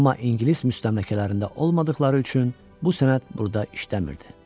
Amma ingilis müstəmləkələrində olmadıqları üçün bu sənəd burda işləmirdi.